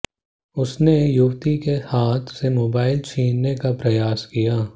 उसने युवती के हाथ से मोबाइल छीनने का प्रयास किया